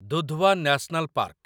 Dudhwa national park